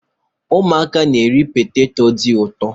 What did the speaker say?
Ụmụaka na-eri poteto dị ụtọ.